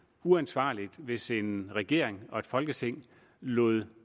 uansvarligt hvis en regering og et folketing lod